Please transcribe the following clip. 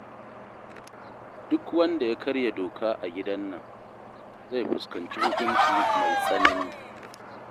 Duk wanda ya karya doka a gidan nan, zai fuskanci hukunci mai tsanani